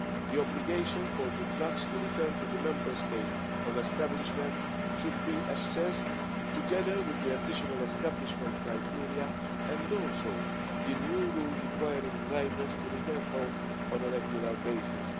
here. The obligation for the trucks to return to the Member State of establishment should be assessed together with the additional establishment criteria, and also the new rule requiring drivers to return home on a regular